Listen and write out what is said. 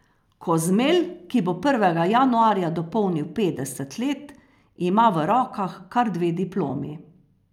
Kozmelj, ki bo prvega januarja dopolnil petdeset let, ima v rokah kar dve diplomi.